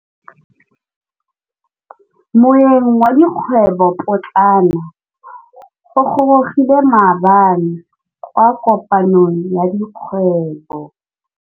Moêng wa dikgwêbô pôtlana o gorogile maabane kwa kopanong ya dikgwêbô.